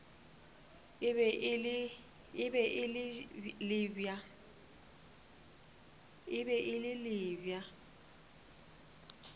e be e le bja